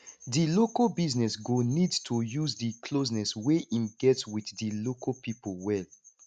di local business go need to use di closeness wey im get with di local pipo well